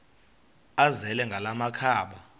azele ngala makhaba